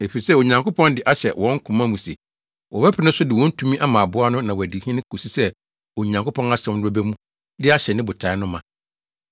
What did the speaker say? Efisɛ Onyankopɔn de ahyɛ wɔn koma mu se wɔbɛpene so de wɔn tumi ama aboa no na wadi hene kosi sɛ Onyankopɔn asɛm no bɛba mu de ahyɛ ne botae no ma.